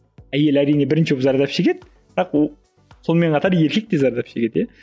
әйел әрине бірінші болып зардап шегеді бірақ ол сонымен қатар еркек те зардап шегеді иә